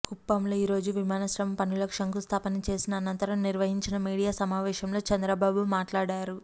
కుప్పంలో ఈరోజు విమానాశ్రయం పనులకు శంకుస్థాపన చేసిన అనంతరం నిర్వహించిన మీడియా సమావేశంలో చంద్రబాబు మాట్లాడారు